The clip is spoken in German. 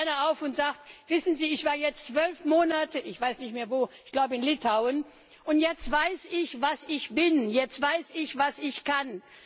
Da steht einer auf und sagt Wissen Sie, ich war jetzt zwölf Monate ich weiß nicht mehr, wo, ich glaube in Litauen, und jetzt weiß ich, was ich bin, jetzt weiß ich, was ich kann.